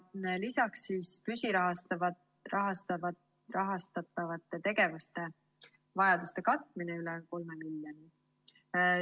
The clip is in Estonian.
Lisaks on püsirahastatavate tegevuste vajaduste katmine, üle 3 miljoni.